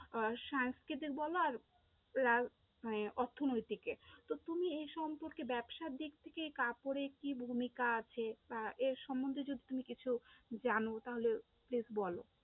আহ সাংস্কৃতিক বলো আর মানে অর্থনৈতিকে, তো তুমি এই সম্পর্কে ব্যবসার দিক থেকে কাপড়ের কি ভূমিকা আছে বা এর সম্মন্ধে যদি তুমি কিছু জানো তাহলে Please বলো।